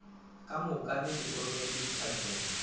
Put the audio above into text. ka mookamedi o rometšwe ditlhahlong